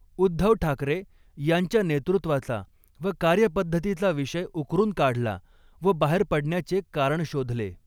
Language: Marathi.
उद्धव ठाकरे यांच्या नेतृत्त्वाचा व कार्यपद्धतीचा विषय उकरून काढला व बाहेर पडण्याचे कारण शोधले.